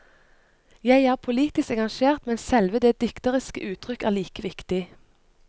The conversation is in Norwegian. Jeg er politisk engasjert, men selve det dikteriske uttrykk er like viktig.